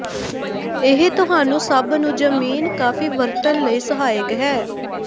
ਇਹ ਤੁਹਾਨੂੰ ਸਭ ਨੂੰ ਜ਼ਮੀਨ ਕਾਫੀ ਵਰਤਣ ਲਈ ਸਹਾਇਕ ਹੈ